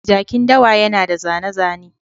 Jakin dawa yana da zane-zane.